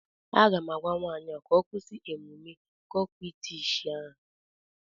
Aga m agwa nwaanyị a ka ọ kwụsị omume kokwịtishi a